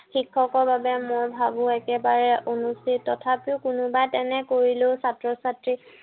শিক্ষকৰ বাবে মই ভাবো একেবাৰে অনুচিত। তথাপিও কোনোবাই তেনে কৰিলেও ছাত্ৰ-ছাত্ৰী